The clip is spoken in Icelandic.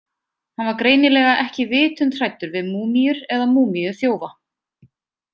Hann var greinilega ekki vitund hræddur við múmíur eða múmíuþjófa.